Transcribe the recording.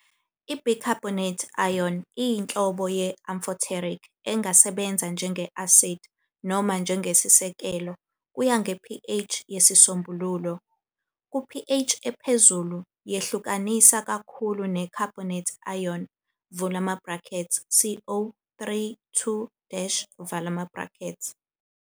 I- bicarbonate ion iyinhlobo ye- amphoteric engasebenza njenge-asidi noma njengesisekelo, kuya nge-pH yesisombululo. Ku- pH ephezulu, yehlukanisa kakhulu ne- carbonate ion, CO 3 2-.